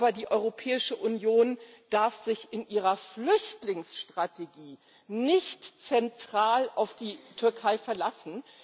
Aber die Europäische Union darf sich in ihrer Flüchtlingsstrategie nicht zentral auf die Türkei verlassen.